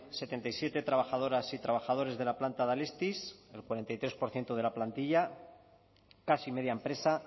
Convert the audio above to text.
setenta y siete trabajadoras y trabajadores de la planta de alestis el cuarenta y tres por ciento de la plantilla casi media empresa